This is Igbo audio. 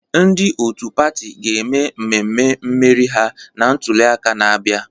Ndị otu pati ga-eme mmemme mmeri ha na ntuliaka na-abịa.